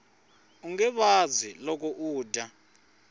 unge vabyi loko u dya